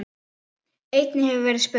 Einnig hefur verið verið spurt